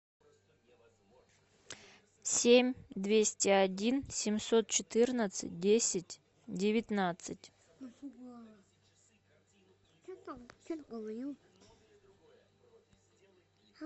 семь двести один семьсот четырнадцать десять девятнадцать